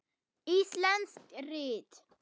Íslensk rit